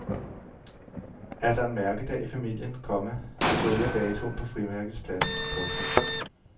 Er der en mærkedag i familien, komma skriver jeg datoen på frimærkets plads. punktum